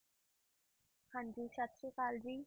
ਹਾਂਜੀ ਸਤਿ ਸ੍ਰੀ ਅਕਾਲ ਜੀ।